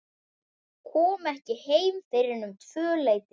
Kom ekki heim fyrr en um tvöleytið.